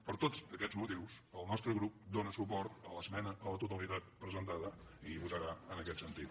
per tots aquests motius el nostre grup dóna suport a l’esmena a la totalitat presentada i votarà en aquest sentit